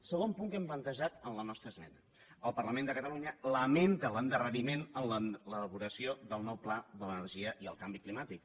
segon punt que hem plantejat en la nostra esmena el parlament de catalunya lamenta l’endarreriment en l’elaboració del nou pla de l’energia i el canvi climàtic